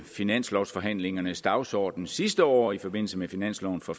finanslovsforhandlingernes dagsorden sidste år i forbindelse med finansloven for